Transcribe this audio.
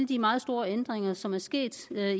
de meget store ændringer som er sket